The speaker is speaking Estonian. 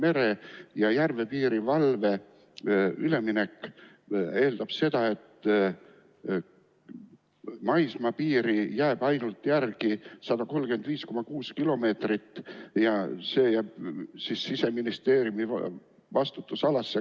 Mere- ja järvepiirivalve üleminek tähendab seda, et maismaapiiri jääb üle ainult 135,6 kilomeetrit ja see jääb siis Siseministeeriumi vastutusalasse.